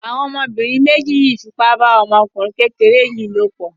Àwọn ọmọbìnrin méjì fipá bá ọmọkùnrin kékeré yìí lòpọ̀.